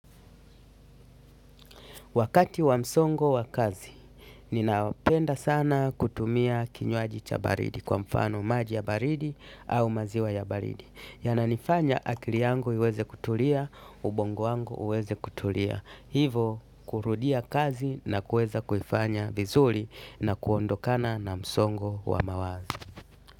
Wakati wa msongo wa kazi ninapenda sana kutumia kinywaji cha baridi kwa mfano maji ya baridi au maziwa ya baridi. Yananifanya akili yangu iweze kutulia, ubongo wangu uweze kutulia. Hivo, kurudia kazi na kuweza kuifanya vizuri na kuondokana na msongo wa mawazo.